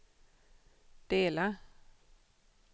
dela